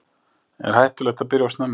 Er hættulegt að byrja of snemma?